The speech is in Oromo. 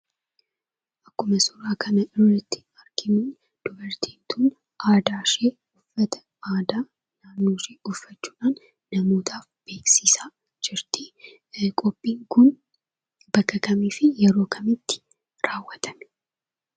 Akkuma suuraa kana irratti arginuu dubartiin tun aadaashee uffata aadaa naannooshee uffachuudhaan namootaaf beeksisaa jirtii, qophiin kun bakka kamiifi yeroo kamitti raawwatame